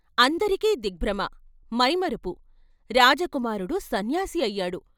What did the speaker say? అందరికీ దిగ్భ్రమ, మైమరపు, రాజకుమారుడు సన్యాసి అయ్యాడు.